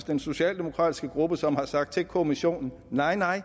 den socialdemokratiske gruppe som har sagt til kommissionen nej nej